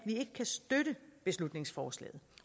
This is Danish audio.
ikke kan støtte beslutningsforslaget